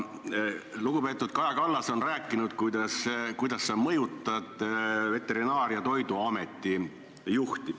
Lugupeetud Kaja Kallas on rääkinud, kuidas sa mõjutad Veterinaar- ja Toiduameti juhti.